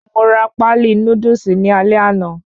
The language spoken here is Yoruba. Mo ra páálí Núdúsì ní alé àná